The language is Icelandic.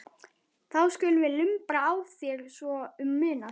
Þá skulum við lumbra á þér svo um munar